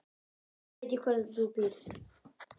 Nú veit ég hvar þú býrð.